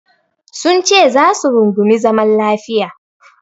Sunce za su rungumi zaman lafiya.